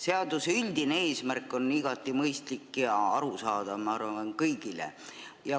Seaduse üldine eesmärk on igati mõistlik ja arusaadav, ma arvan, kõigile.